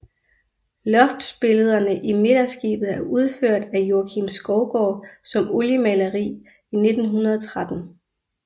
Loftsbillederne i midterskibet er udført af Joakim Skovgaard som oliemaleri i 1913